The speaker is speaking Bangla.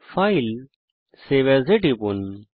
ফাইলেগটগট সেভ এএস টিপুন